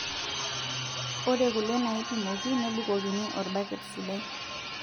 Ore kule naipimoki nebukokini orbaket sidai,